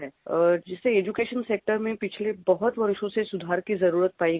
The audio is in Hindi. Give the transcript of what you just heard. जैसे एड्यूकेशन सेक्टर में पिछले बहुत वर्षों से सुधार की जरुरत पाई गयी है